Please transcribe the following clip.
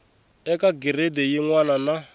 eka giredi yin wana na